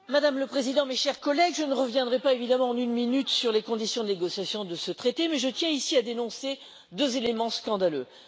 Madame la Présidente, mes chers collègues, je ne reviendrai pas, évidemment, en une minute sur les conditions de négociation de ce traité, mais je tiens ici à dénoncer deux éléments scandaleux.